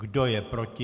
Kdo je proti?